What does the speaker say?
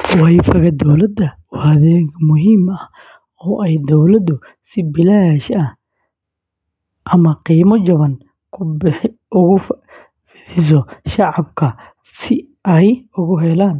WiFi-ga dowladda waa adeeg muhiim ah oo ay dowladdu si bilaash ah ama qiimo jaban ugu fidiso shacabka si ay ugu helaan